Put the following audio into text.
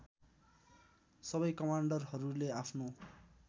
सबै कमान्डरहरूले आफ्नो